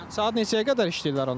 Yəni saat neçəyə qədər işləyirlər onlar?